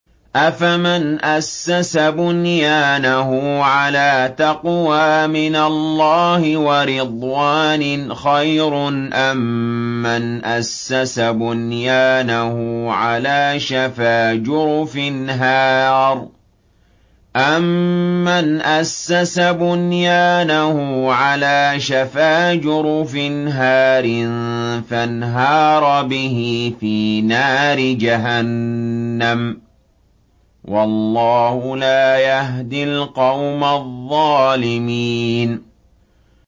أَفَمَنْ أَسَّسَ بُنْيَانَهُ عَلَىٰ تَقْوَىٰ مِنَ اللَّهِ وَرِضْوَانٍ خَيْرٌ أَم مَّنْ أَسَّسَ بُنْيَانَهُ عَلَىٰ شَفَا جُرُفٍ هَارٍ فَانْهَارَ بِهِ فِي نَارِ جَهَنَّمَ ۗ وَاللَّهُ لَا يَهْدِي الْقَوْمَ الظَّالِمِينَ